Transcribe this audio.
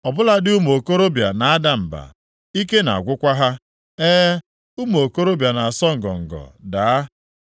Ọ bụladị ụmụ okorobịa na-ada mba, ike na-agwụkwa ha. E, ụmụ okorobịa na-asọ ngọngọ daa,